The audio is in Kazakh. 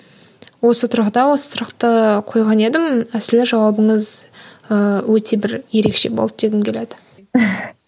осы тұрғыда осы сұрақты қойған едім әсілі жауабыңыз ыыы өте бір ерекше болды дегім келеді